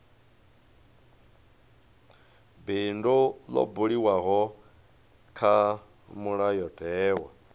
bindu ḽo buliwaho kha mulayotewa